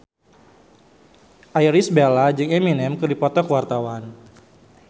Irish Bella jeung Eminem keur dipoto ku wartawan